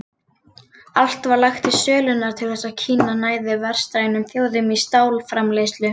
Allt var lagt í sölurnar til þess að Kína næði vestrænum þjóðum í stálframleiðslu.